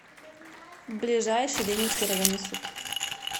ближайший ленинский районный суд